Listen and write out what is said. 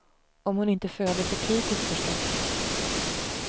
Om hon inte föder för tidigt, förstås.